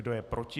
Kdo je proti?